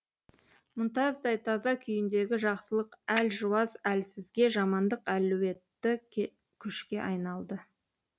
мұнтаздай таза күйіндегі жақсылық әлжуаз әлсізге жамандық әлуетті күшке айналды